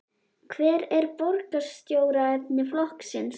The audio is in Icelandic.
Hver er borgarstjóraefni flokksins?